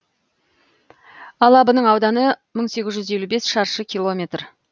алабының ауданы мың сегіз жүз елу бес шаршы километр